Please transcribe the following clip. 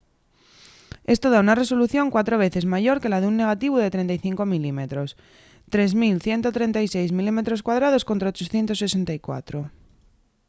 esto da una resolución cuatro veces mayor que la d’un negativu de 35 mm 3136 mm² contra 864